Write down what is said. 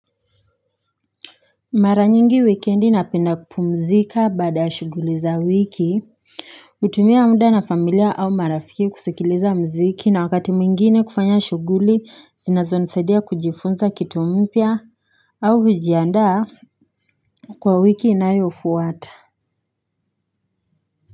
Mara nyingi wikendi napenda kupumzika baada ya shughuli za wiki hutumia muda na familia au marafiki kusikiliza mziki na wakati mwingine kufanya shughuli zinazonisaidia kujifunza kitu mpya au hujiandaa kwa wiki inayofwata.